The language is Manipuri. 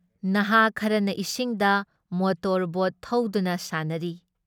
ꯅꯍꯥꯥ ꯈꯔꯅ ꯏꯁꯤꯡꯗ ꯃꯣꯇꯣꯔ ꯕꯣꯠ ꯊꯧꯗꯨꯅ ꯁꯥꯟꯅꯔꯤ ꯫